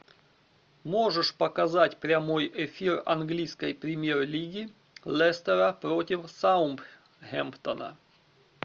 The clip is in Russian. можешь показать прямой эфир английской премьер лиги лестера против саутгемптона